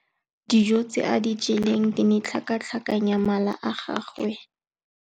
Dijô tse a di jeleng di ne di tlhakatlhakanya mala a gagwe.